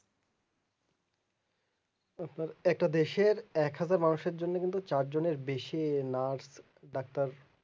একটা দেশের একহাজার মানুষের জন্য কিন্তু চার জনের বেশি nurse দাক্তার